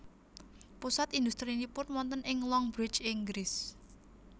Pusat industrinipun wonten ing Longbridge Inggris